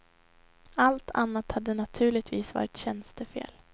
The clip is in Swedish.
Allt annat hade naturligtvis varit tjänstefel.